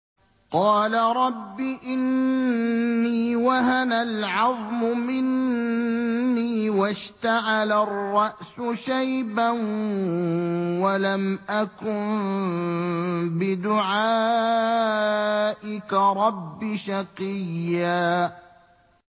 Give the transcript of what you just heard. قَالَ رَبِّ إِنِّي وَهَنَ الْعَظْمُ مِنِّي وَاشْتَعَلَ الرَّأْسُ شَيْبًا وَلَمْ أَكُن بِدُعَائِكَ رَبِّ شَقِيًّا